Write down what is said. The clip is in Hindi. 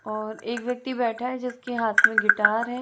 और एक व्यक्ति बैठा है जिसके हाथ में गिटार है।